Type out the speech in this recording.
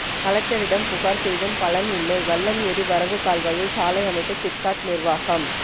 கலெக்டரிடம் புகார் செய்தும் பலன் இல்லை வல்லம் ஏரி வரவு கால்வாயில் சாலை அமைத்த சிப்காட் நிர்வாகம்